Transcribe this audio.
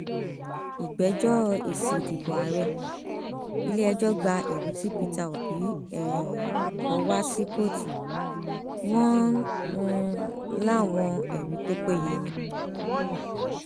ìgbẹjọ èsì ìdìbò ààrẹ ilẹẹjọ gba ẹrí tí pété obi um kọ wá sí kóòtù wọn um láwọn ẹrí tó péye ni